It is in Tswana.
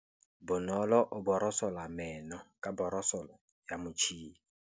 Bonolô o borosola meno ka borosolo ya motšhine.